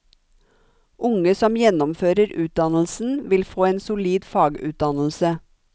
Unge som gjennomfører utdannelsen, vil få en solid fagutdannelse.